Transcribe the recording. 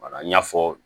Wala n y'a fɔ